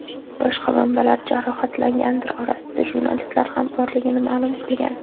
Boshqa manbalar jarohatlanganlar orasida jurnalistlar ham borligini ma’lum qilgan.